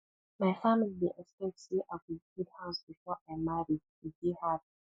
my family expect say i go build house before i marry e dey hard